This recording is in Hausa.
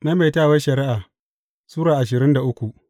Maimaitawar Shari’a Sura ashirin da uku